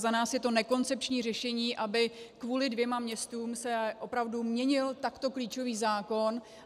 Za nás je to nekoncepční řešení, aby kvůli dvěma městům se opravdu měnil takto klíčový zákon.